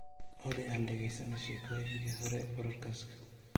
olly aan dhagaysano sheekooyinkii hore podcast